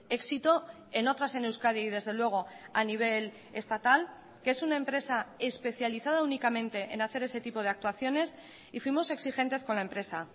éxito en otras en euskadi y desde luego a nivel estatal que es una empresa especializada únicamente en hacer ese tipo de actuaciones y fuimos exigentes con la empresa